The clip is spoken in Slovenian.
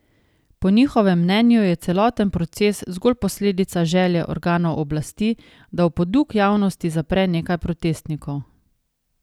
Po njihovem mnenju je celoten proces zgolj posledica želje organov oblasti, da v poduk javnosti zapre nekaj protestnikov.